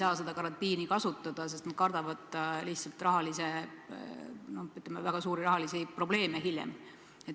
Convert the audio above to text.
Paljud lihtsalt ei saa seda karantiinivõimalust kasutada, sest kardavad väga suuri rahalisi probleeme.